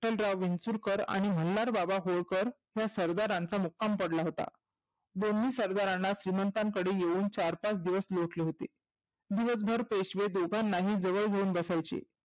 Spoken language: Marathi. चिंतनराव विंचुरकर आणि मल्हारबाबा होळकर या सरदारांचा मुक्काम पडला होता. दिल्ली सरदारांना श्रिमंताकडे येऊन चार पाच दिवस लोटले होते. दिवसभर पेशवे दोघांनाही जवळ घेऊन बसायचे.